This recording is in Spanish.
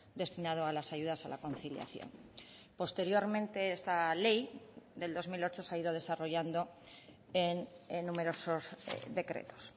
destinado a las ayudas a la conciliación posteriormente esta ley del dos mil ocho se ha ido desarrollando en numerosos decretos